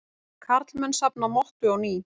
Karlmenn safna mottu á ný